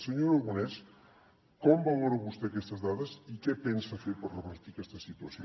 senyor aragonès com valora vostè aquestes dades i què pensa fer per revertir aquesta situació